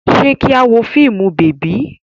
Ṣé kí a wo fíìmù bèbí?